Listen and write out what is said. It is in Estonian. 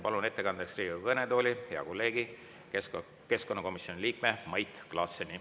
Palun ettekandeks Riigikogu kõnetooli hea kolleegi, keskkonnakomisjoni liikme Mait Klaasseni.